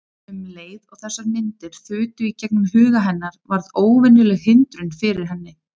Um leið og þessar myndir þutu í gegnum huga hennar varð óvenjuleg hindrun fyrir henni.